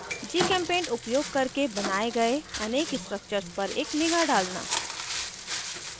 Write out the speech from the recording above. gchempaint उपयोग करके बनाये गए अनेक structures पर एक निगाह डालना